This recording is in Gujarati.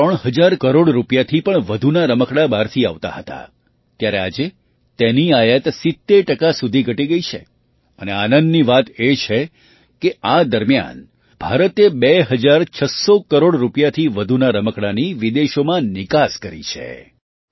પહેલાં ત્રણ હજાર કરોડ રૂપિયા થી પણ વધુ નાં રમકડાં બહારથી આવતાં હતાં ત્યારે આજે તેની આયાત ૭૦ ટકા સુધી ઘટી ગઈ છે અને આનંદની વાત એ છે કે આ દરમિયાન ભારતે બે હજાર છસ્સો કરોડ રૂપિયાથી વધુનાં રમકડાંની વિદેશોમાં નિકાસ કરી છે